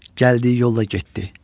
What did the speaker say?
Gəldiyi yolla getdi.